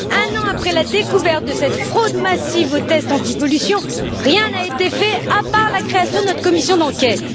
Un an après la découverte de cette fraude massive au test antipollution, rien n'a été fait, à part la création de notre commission d'enquête.